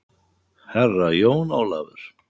Herra Jón Ólafur!